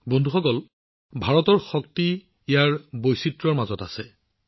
বন্ধুসকল ভাৰতৰ শক্তি ইয়াৰ বৈচিত্ৰ্যৰ মাজত আছে